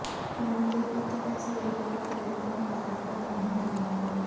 ਨੂੰ ਦੇ ਇੱਕ ਇਸ ਵੇਲੇ ਓਪਰੇਟਿੰਗ ਬਾਰ੍ਹਾ ਪ੍ਰਧਾਨ ਮਹਿਲਾ ਹਨ